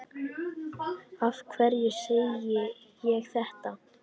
Af hverju segi ég þetta?